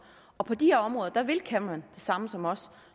og på de her områder vil cameron det samme som os